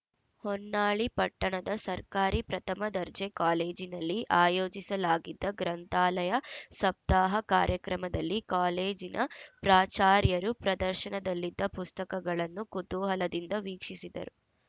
ಹೊನ್ನಾಳಿ ಪಟ್ಟಣದ ಸರ್ಕಾರಿ ಪ್ರಥಮ ದರ್ಜೆ ಕಾಲೇಜಿನಲ್ಲಿ ಆಯೋಜಿಸಲಾಗಿದ್ದ ಗ್ರಂಥಾಲಯ ಸಪ್ತಾಹ ಕಾರ್ಯಕ್ರಮದಲ್ಲಿ ಕಾಲೇಜಿನ ಪ್ರಾಚಾರ್ಯರು ಪ್ರದರ್ಶನದಲ್ಲಿದ್ದ ಪುಸ್ತಕಗಳನ್ನೂ ಕುತೂಹಲದಿಂದ ವೀಕ್ಷಿಸಿದರು